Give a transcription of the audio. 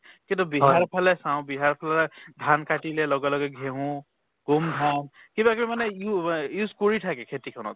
কিন্তু বিহাৰৰ ফালে চাওঁ বিহাৰৰফালে ধান কাটিলে লগে লগে ঘেঁহু, গোম ধান কিবাকিবি মানে উ~ অ use কৰি থাকে খেতিখনত